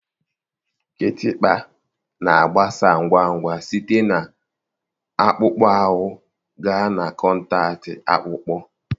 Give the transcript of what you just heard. Kịtịkpa na-agbasa ngwa ngwa site na akpụkpọ ahụ gaa na kọntaktị akpụkpọ